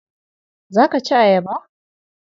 Za ka ci ayaba?